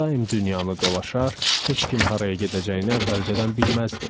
Daim dünyanı dolaşar, heç kim haraya gedəcəyini əvvəlcədən bilməzdi.